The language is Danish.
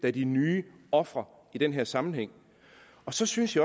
er de nye ofre i den her sammenhæng så synes